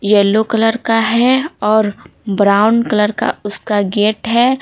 Yellow colour का है और ब्राउन कलर का उसका गेट है।